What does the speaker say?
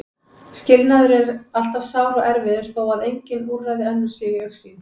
Skilnaður er alltaf sár og erfiður þó að engin úrræði önnur séu í augsýn.